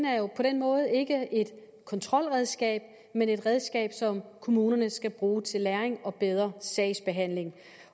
måde ikke et kontrolredskab men et redskab som kommunerne skal bruge til læring og bedre sagsbehandling